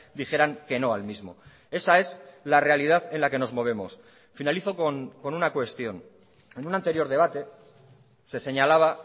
dijeran que no al mismo esa es la realidad en la que nos movemos finalizo con una cuestión en un anterior debate se señalaba